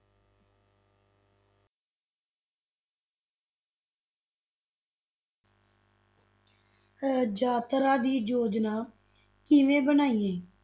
ਅਹ ਯਾਤਰਾ ਦੀ ਯੋਜਨਾ ਕਿਵੇਂ ਬਣਾਈ ਗਈ।